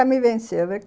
Me venceu